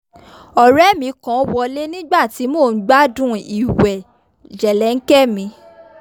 ọ̀rẹ́ mi kan wọlé nígbà tí mò ń gbádùn ìwẹ̀ jẹ̀lẹ́ńkẹ́ mi